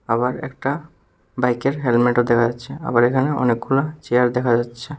আবার একটা বাইকের হেলমেটও দেখা যাচ্ছে আবার এখানে অনেকগুলো চেয়ার দেখা যাচ্ছে।